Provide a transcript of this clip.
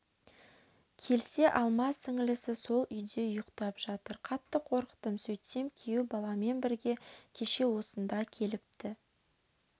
келсе алма сіңілісі сол үйде ұйқтап жатыр қатты қорықтым сөйтсем күйеу баламен бірге кеше осында келіпті